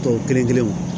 Tɔw kelen kelenw